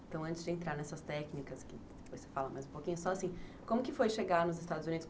Então, antes de entrar nessas técnicas, que depois você fala mais um pouquinho, só assim, como que foi chegar nos Estados Unidos?